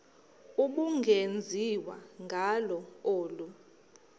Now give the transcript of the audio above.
ubungenziwa ngalo olu